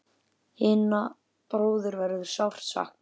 Hinna bróður verður sárt saknað.